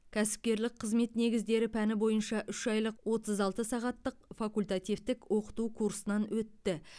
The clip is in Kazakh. кәсіпкерлік қызмет негіздер пәні бойынша үш айлық отыз алты сағаттық факультативтік оқыту курсынан өтті